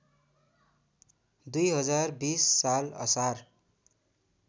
२०२० साल असार